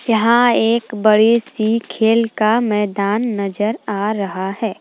यहां एक बड़ी सी खेल का मैदान नजर आ रहा है।